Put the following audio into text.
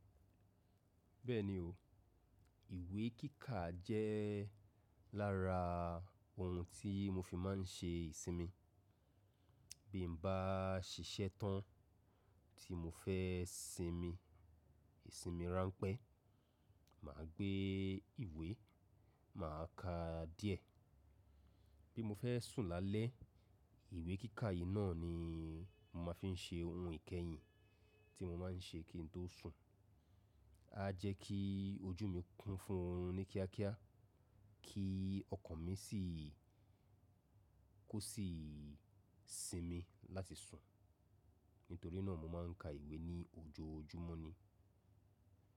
Bẹ́ẹ̀ni o, ìwé kíkà jẹ́ lára ohun tí mo fi máa ń ṣe ìsinmi. Bí mo bá ṣiṣẹ́ tán tí mo fẹ́ sinmi, ìsinmi ránpẹ́, mà á gbé ìwé, mà á ka díẹ̀. Bí mo fẹ́ sùn lálẹ́, ìwé kíkà yìí náà ni mo máa fi ń ṣe ohun ìkẹyìn tí mo máa ń ṣe kí n tó sùn. Á jẹ́ kí ojú mi kún fún ní kíákíá, kí ọkàn mi sì kó sì sinmi láti sùn. Nítorí náà mo máa ń ka ìwé ní ojoojúmọ́ ni.